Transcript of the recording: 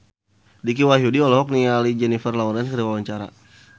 Dicky Wahyudi olohok ningali Jennifer Lawrence keur diwawancara